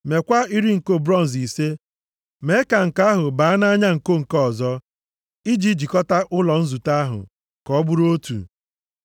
Meekwa iri nko bronz ise, mee ka nko ahụ baa nʼanya nko nke ọzọ, i ji jikọta ụlọ nzute ahụ ka ọ bụrụ otu.